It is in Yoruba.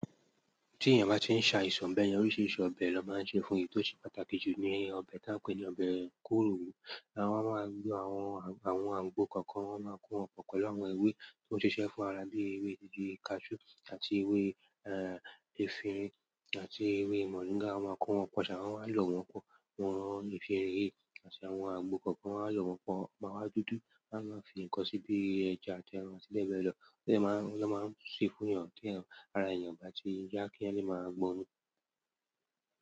Tí èèyàn bá ti ń ṣe aìsàn beyen, oríṣiríṣi ọbẹ̀ ló máa ń se fún èyí tó ṣe pàtàkì jù ní ọbẹ̀ tí a ń pè ní ọbẹ̀ kóró, láwọn a máa ń gbé àwọn, àwọn àgbo kọ̀ọ̀kan, wọ́n máa ń kó wọn pe pelu awon ewé tó ń ṣiṣẹ́ fún ara bí ewé didù, kasú àti ewé, eh, èfin àti ewé mọ̀ríńgà. Wọ́n máa kó wọn pọ̀, ṣà wọ́n máa lò wọ́n pọ̀, wọ́n fi rí, àti àwọn àgbo kọ̀ọ̀kan wọ́n á lò wọ́n pọ̀, máa wá dúdú, wọ́n á fi nnkan síbi ẹja àti àwọn eran mẹ́lọ̀ọ́ tí ẹ máa, tí ẹ máa ń ṣe fún èèyàn tí èèyàn, ara èèyàn bá ti ń yá kí ẹniyan le máa gbónmu.